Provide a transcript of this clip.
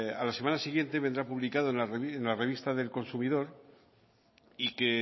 a la semana siguiente vendrá publicado en la revista del consumidor y que